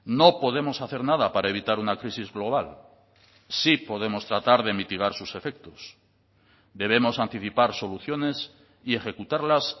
no podemos hacer nada para evitar una crisis global sí podemos tratar de mitigar sus efectos debemos anticipar soluciones y ejecutarlas